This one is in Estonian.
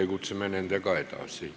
Kohaloleku kontroll, palun!